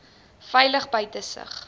veilig buite sig